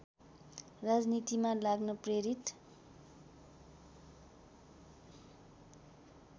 राजनीतिमा लाग्न प्रेरित